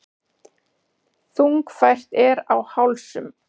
Þungfært er á hálsum.